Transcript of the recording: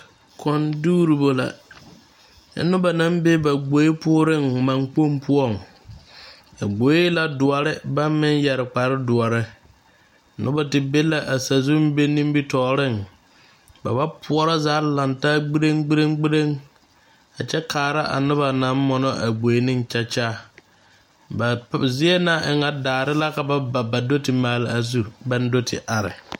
Kõɔ dugribo la nyɛ noba naŋ be gbori pooreŋ maŋkpoŋ poɔŋ a gboe e la doɔre ba meŋ yɛre kparre doɔre noba te be la a sazu be nimitɔɔreŋ ba ba poorɔ zaa a lantaa gbirgbiriŋ a kyɛ kaara a noba naŋ mono a gboe ne kyakya ba zie na e ŋa daare la ka ba ba do te maale a zu baŋ do te are.